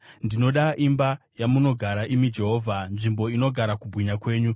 Ndinoda imba yamunogara, imi Jehovha, nzvimbo inogara kubwinya kwenyu.